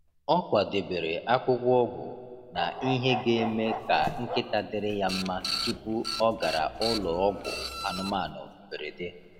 Ọ kwadebere akwụkwọ ọgwụ na ihe ga-eme ka nkịta dịrị ya mma tupu ọ gara ụlọ ọgwụ anụmanụ mberede.